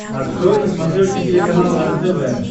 открой на смотрешке телеканал рентв